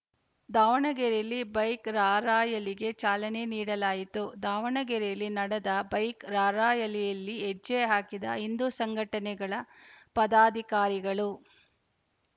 ದಾವಣಗೆರೆಯಲ್ಲಿ ಬೈಕ್‌ ರಾರ‍ಯಲಿಗೆ ಚಾಲನೆ ನೀಡಲಾಯಿತು ದಾವಣಗೆರೆಯಲ್ಲಿ ನಡದ ಬೈಕ್‌ ರಾರ‍ಯಲಿಯಲ್ಲಿ ಹೆಜ್ಜೆ ಹಾಕಿದ ಹಿಂದು ಸಂಘಟನೆಗಳ ಪದಾಧಿಕಾರಿಗಳು